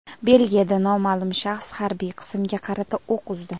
Belgiyada noma’lum shaxs harbiy qismga qarata o‘q uzdi.